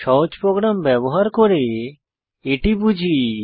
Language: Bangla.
সহজ প্রোগ্রাম ব্যবহার করে এটি বুঝি